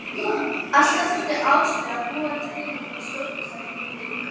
Alltaf þurfti Áslaug að búa til eitthvað stórkostlegt úr engu.